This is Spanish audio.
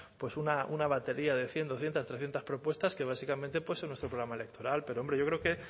pues una batería de cien doscientos trescientos propuestas que básicamente pueden ser nuestro programa electoral pero hombre yo creo que